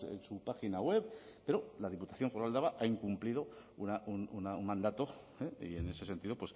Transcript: en su página web pero la diputación foral de álava ha incumplido un mandato y en ese sentido